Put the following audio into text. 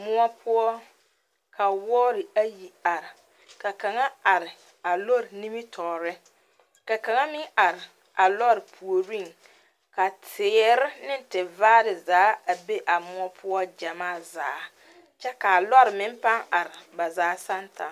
Muo poʊ ka woɔre ayi are. Ka kanga are a lɔre nimitoore ka kanga meŋ are a lɔre pooreŋ ka teɛre ne tevaare zaa a be a muo poʊ gyamaa zaa kyɛ ka lɔre meŋ paa are ba zaa santa